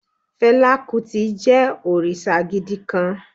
Fela Kuti jẹ́ òrìṣà gidi kan